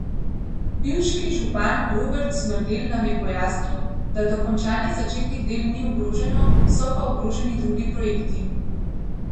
Pivški župan Robert Smrdelj nam je pojasnil, da dokončanje začetih del ni ogroženo, so pa ogroženi drugi projekti.